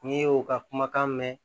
N'i y'o ka kumakan mɛn